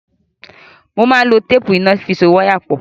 Mo máa n lo téèpù iná fi so wáyà pọ̀.